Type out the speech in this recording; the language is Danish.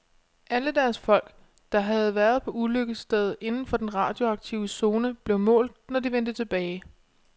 Alle deres folk, der havde været på ulykkesstedet inden for den radioaktive zone, blev målt, når de vendte tilbage.